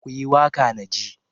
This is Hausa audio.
ku yi waƙa na ji!